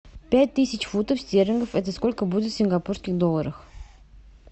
пять тысяч фунтов стерлингов это сколько будет в сингапурских долларах